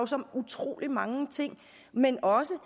så utrolig mange ting men også